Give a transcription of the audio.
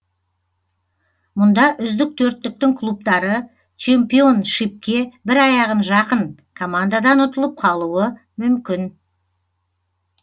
мұнда үздік төрттіктің клубтары чемпионшипке бір аяғы жақын командадан ұтылып қалуы мүмкін